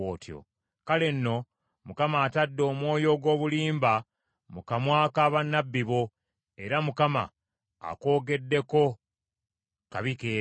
“Kale nno Mukama atadde omwoyo ogw’obulimba mu kamwa ka bannabbi bo, era Mukama akwogeddeko kabi keereere.”